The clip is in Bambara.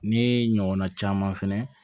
Ne ɲɔgɔnna caman fɛnɛ